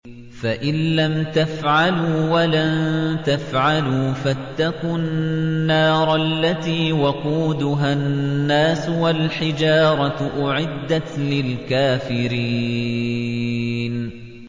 فَإِن لَّمْ تَفْعَلُوا وَلَن تَفْعَلُوا فَاتَّقُوا النَّارَ الَّتِي وَقُودُهَا النَّاسُ وَالْحِجَارَةُ ۖ أُعِدَّتْ لِلْكَافِرِينَ